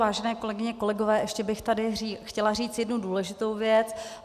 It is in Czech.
Vážené kolegyně, kolegové, ještě bych tady chtěla říct jednu důležitou věc.